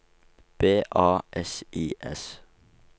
B A S I S